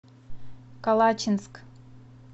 калачинск